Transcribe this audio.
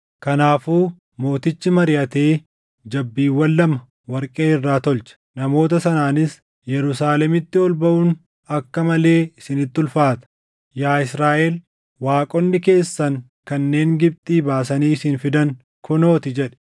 Kanaafuu mootichi mariʼatee jabbiiwwan lama warqee irraa tolche. Namoota sanaanis, “Yerusaalemitti ol baʼuun akka malee isinitti ulfaata. Yaa Israaʼel waaqonni keessan kanneen Gibxii baasanii isin fidan kunoo ti” jedhe.